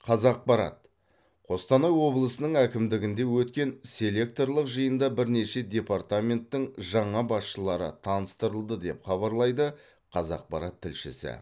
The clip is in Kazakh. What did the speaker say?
қазақпарат қостанай облысының әкімдігінде өткен селекторлық жиында бірнеше департаменттің жаңа басшылары таныстырылды деп хабарлайды қазақпарат тілшісі